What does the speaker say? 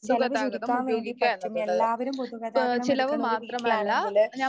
ചെലവ് ചുരുക്കാൻ വേണ്ടി പറ്റും. എല്ലാവരും പൊതുഗതാഗതം ഒരു വീട്ടിലാണെങ്കില്